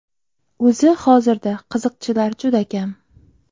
O‘zi hozirda qiziqchilar juda kam.